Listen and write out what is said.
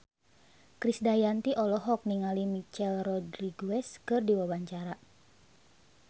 Krisdayanti olohok ningali Michelle Rodriguez keur diwawancara